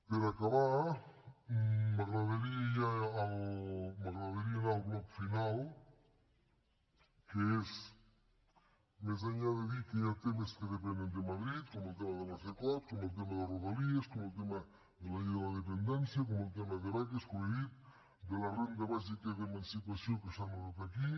per acabar m’agradaria ja anar al bloc final que és més enllà de dir que hi ha temes que depenen de madrid com el tema de la cecot com el tema de rodalies com el tema de la llei de la dependència com el tema de beques com he dit de la renda bàsica d’emancipació que s’ha anotat aquí